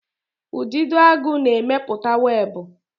Udidoagu na-emepụta webụ.